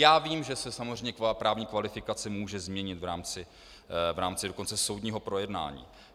Já vím, že se samozřejmě právní kvalifikace může změnit v rámci dokonce soudního projednání.